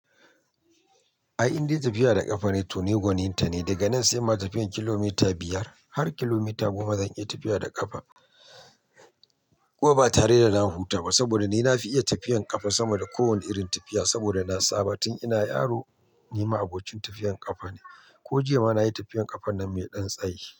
A inda tafiya da ƙafa ne, to ni gwaninta ne. Daga nan sai ma tafiyan kilomita biyar har kilomita goma zan iya tafiya da ƙafa. Ko ba tare da na huta ba. Saboda ni na fi iya tafiyan ƙafa sama da kowane irin tafiya. Saboda na saba tun ina yaro, ni ma abocin tafiyan ƙafa ne. Ko jiya ma nayi tafiyan ƙafa nan me dan tsayi.